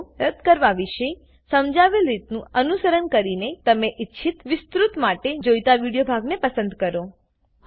ભાગો રદ્દ કરવા વિશે સમજાવેલ રીતનું અનુસરણ કરીને તમને ઈચ્છિત વિસ્તુત માટે જોઈતા વિડીયો ભાગને પસંદ કરો